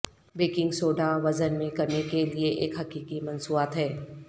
baking soda وزن میں کمی کے لئے ایک حقیقی مصنوعات ہے